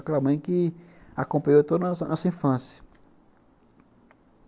Aquela mãe que acompanhou toda a nossa nossa infância.